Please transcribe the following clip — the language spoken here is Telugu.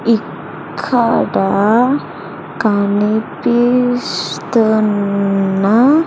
ఇక్కడ కనిపిస్తున్నా.